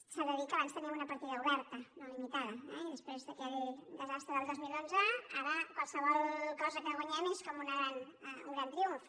s’ha de dir que abans teníem una partida oberta no limitada eh i després d’aquell desastre del dos mil onze ara qualsevol cosa que guanyem és com un gran triomf